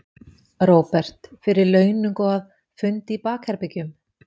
Róbert: Fyrir launung og að, fundi í bakherbergjum?